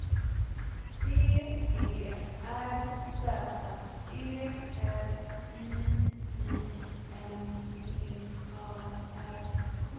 B E R Z E L I I N P A R K